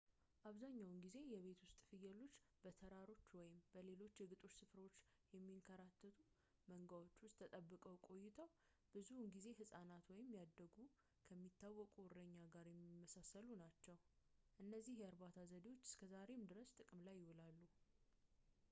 አብዛኛውን ጊዜ የቤት ውስጥ ፍየሎች በተራሮች ወይም በሌሎች የግጦሽ ስፍራዎች በሚንከራተቱ መንጋዎች ውስጥ ተጠብቀው ቆይተው ብዙውን ጊዜ ሕፃናት ወይም ያደጉ ከሚታወቁት እረኛ ጋር የሚመሳሰሉ ናቸው እነዚህ የእርባታ ዘዴዎች እስከዛሬ ድረስ ጥቅም ላይ ይውላሉ